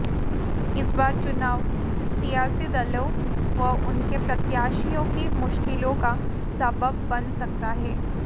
इस बार चुनाव सियासी दलों व उनके प्रत्याशियों की मुश्किलों का सबब बन सकता है